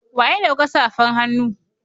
Wa ya dauka safan hannu.